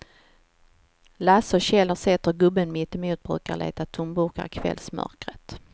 Lasse och Kjell har sett hur gubben mittemot brukar leta tomburkar i kvällsmörkret.